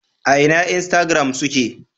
A ina instagram suke?